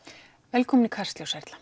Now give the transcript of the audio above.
velkomin í Kastljós Erla